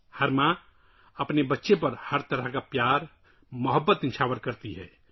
ہر ماں اپنے بچے کو ہر طرح سے پیار کرتی ہے